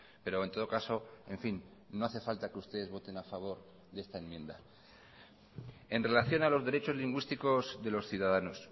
pero en todo caso en fin no hace falta que ustedes voten a favor de esta enmienda en relación a los derechos lingüísticos de los ciudadanos